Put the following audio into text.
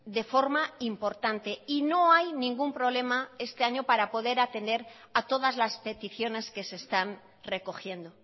de forma importante y no hay ningún problema este año para poder atender a todas las peticiones que se están recogiendo